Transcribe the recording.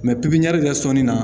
pipiɲɛri kɛ sɔnni na